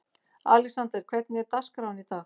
Alexander, hvernig er dagskráin í dag?